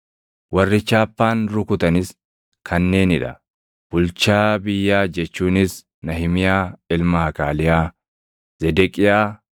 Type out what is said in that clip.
Warri chaappaan rukutanis kanneenii dha: Bulchaa biyyaa jechuunis Nahimiyaa ilma Hakaaliyaa. Zedeqiyaa,